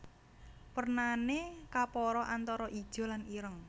Wernané kapara antara ijo lan ireng